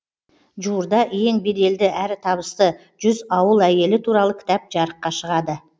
жуырда ең беделді әрі табысты жүз ауыл әйелі туралы кітап жарыққа шығады